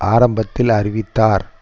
ஆரம்பத்தில் அறிவித்தார்